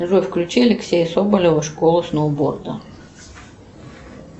джой включи алексея соболева школа сноуборда